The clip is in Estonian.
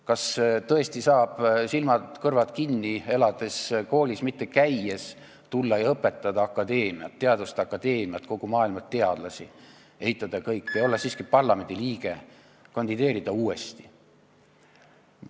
Kas tõesti saab silmad-kõrvad kinni elades ja koolis mitte käies tulla ja õpetada teaduste akadeemiat ja kogu maailma teadlasi, eitada kõike ja olla siiski parlamendi liige, kandideerida uuesti?